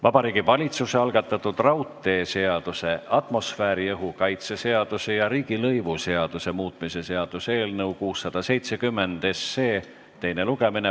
Vabariigi Valitsuse algatatud raudteeseaduse, atmosfääriõhu kaitse seaduse ja riigilõivuseaduse muutmise seaduse eelnõu 670 teine lugemine.